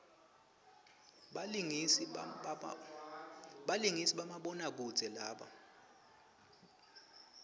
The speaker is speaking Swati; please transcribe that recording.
balingisi bamabona kudze laba